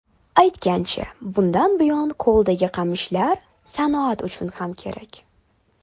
Aytgancha, bundan buyon ko‘ldagi qamishlar sanoat uchun ham kerak.